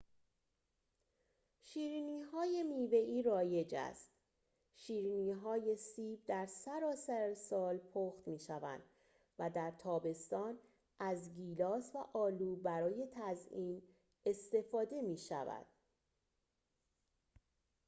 شیرینی‌های میوه‌ای رایج است شیرینی‌های سیب در سراسر سال پخت می‌شوند و در تابستان از گیلاس و آلو برای تزیین استفاده می‌شود